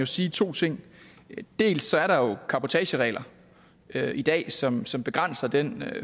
sige to ting dels er der jo cabotageregler i dag som som begrænser den